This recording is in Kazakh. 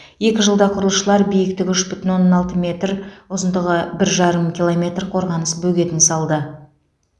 екі жылда құрылысшылар биіктігі үш бүтін оннан алты метр ұзындығы бір жарым километр қорғаныс бөгетін салды